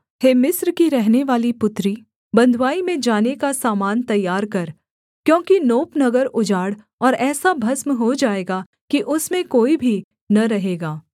हे मिस्र की रहनेवाली पुत्री बँधुआई में जाने का सामान तैयार कर क्योंकि नोप नगर उजाड़ और ऐसा भस्म हो जाएगा कि उसमें कोई भी न रहेगा